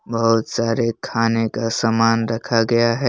बहुत सारे खाने का सामान रखा गया है।